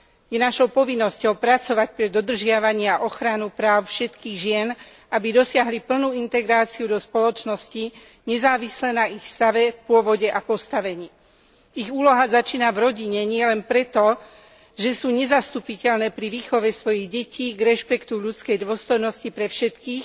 Je našou povinnosťou pracovať pre dodržiavanie a ochranu práv všetkých žien, aby dosiahli plnú integráciu do spoločnosti, nezávisle na ich stave, pôvode a postavení. Ich úloha začína v rodine nielen preto, že sú nezastupiteľné pri výchove svojich detí k rešpektu ľudskej dôstojnosti pre všetkých,